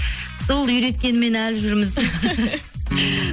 сол үйреткенімен әлі жүрміз